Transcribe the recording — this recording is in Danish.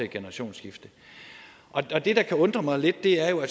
generationsskifte og det der kan undre mig lidt er jo